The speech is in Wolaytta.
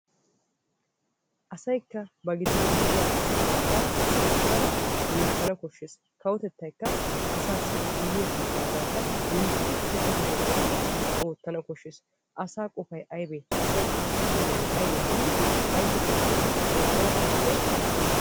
Asaykka ba gidon de'iya issipetetta issoy issuwara minttanna koshees kawotettay asaassi immiyo hagaaza loyttiddi ushshachcha kushiyan oyqqiddi oottana koshees asaa qofay aybbe asay taape koyiyoobbi aybbe giiddi aysso kifiletti oottanna xayikko...